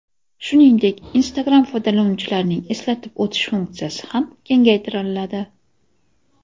Shuningdek, Instagram foydalanuvchilarining eslatib o‘tish funksiyasi ham kengaytiriladi.